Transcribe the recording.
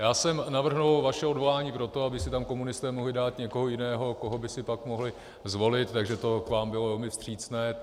Já jsem navrhl vaše odvolání proto, aby si tam komunisté mohli dát někoho jiného, koho by si pak mohli zvolit, takže to k vám bylo velmi vstřícné.